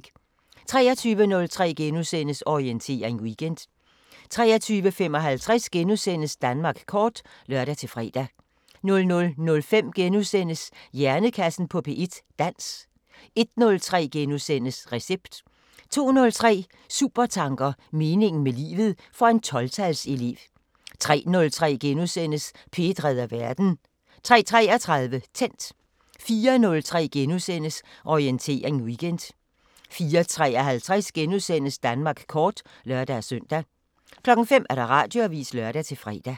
23:03: Orientering Weekend * 23:55: Danmark kort *(lør-fre) 00:05: Hjernekassen på P1: Dans * 01:03: Recept * 02:03: Supertanker: Meningen med livet – for en 12-tals elev 03:03: P1 redder verden * 03:33: Tændt 04:03: Orientering Weekend * 04:53: Danmark kort *(lør-søn) 05:00: Radioavisen (lør-fre)